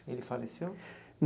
Ele faleceu?